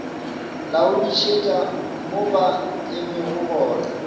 laodišetša mo ba emego gona